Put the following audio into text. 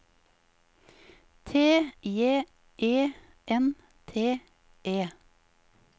T J E N T E